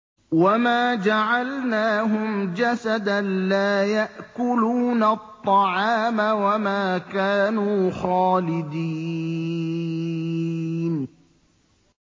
وَمَا جَعَلْنَاهُمْ جَسَدًا لَّا يَأْكُلُونَ الطَّعَامَ وَمَا كَانُوا خَالِدِينَ